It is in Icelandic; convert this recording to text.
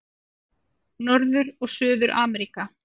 Norður- og Suður-Ameríka